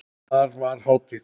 Þar var hátíð.